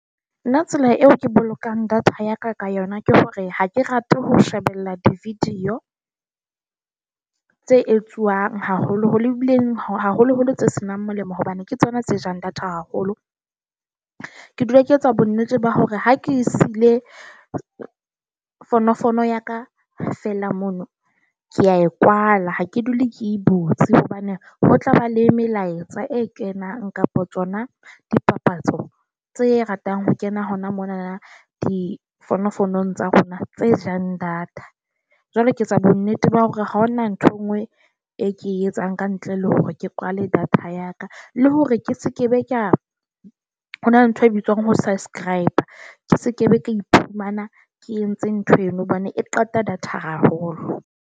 Na tsela eo ke bolokang data ya ka ka yona ke hore ha ke rate ho shebella di-video tse etsuawng haholoholo ileng haholoholo tse senang molemo, hobane ke tsona tse jang data haholo. Ke dula ke etsa bonnete ba hore ha ke siile fonofono ya ka fela mono ke a e kwala, ha ke dule ke butse hobane ho tlaba le melaetsa e kenang kapa tsona dipapatso tse ratang ho kena hona mona difounu founung tsa rona tse jang data. Jwale ke etsa bonnete ba hore ha hona ntho e nngwe e ke e etsang ka ntle le hore ke kwale data ya ka le hore ke sekebe ka ho na le ntho e bitswang ho subscribe ke sekebe ka iphumana ke entse ntho eno hobane e qeta data haholo.